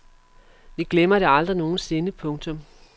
Vi glemmer det aldrig nogen sinde. punktum